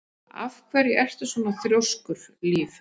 Af hverju ertu svona þrjóskur, Líf?